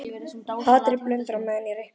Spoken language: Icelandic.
Hatrið blundar á meðan ég reikna.